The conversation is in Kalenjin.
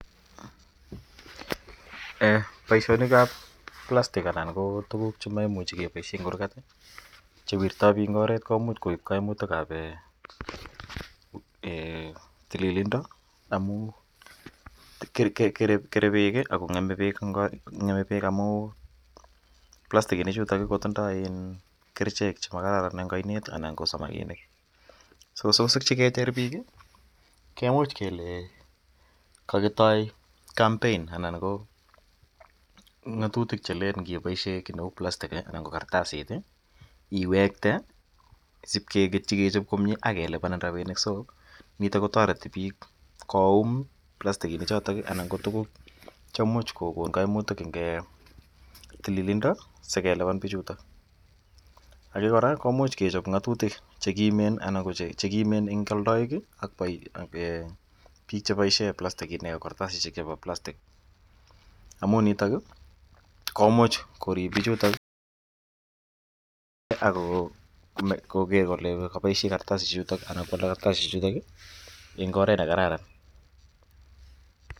Poishoni ap plastik anan ko tuguk che makimuch kepaishe eng' kurgat che wirtai piik eng' orwt komuch koip kaimitik ap tililindo amu kere peek ako ng'eme peek amu plastikishechutok ko tindai kerichek che makararanen eng' ainet anan ko samakinik. Si kecher piik kemuch kele kakitoi kampein anan ko ng'atutik che len nggipaishe ki neu plastik anan ko kartasit iwekte asipkeketchi kechop komye ak kelipanin rapinik. So nitok ko tareti piik koum palstikishechotok anan ko tuguk che imuch kokon kaimitik eng' tililindo asikelipan pichutok. Age kora komuch kechop ng'atutik che kimen eng' aldaik ak piik che paishe plastikinik ak kartasishek chepo plastik. Amu nitok komuch korip pichutok ak koker kole kapaishe kartasishechutok anan ko alda kartasishechutok eng' oret ne kararan.